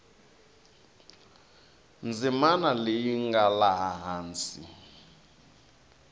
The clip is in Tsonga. ndzimana leyi nga laha hansi